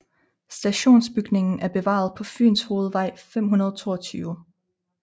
Stationsbygningen er bevaret på Fynshovedvej 522